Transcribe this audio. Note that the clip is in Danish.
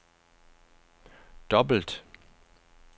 dobbelt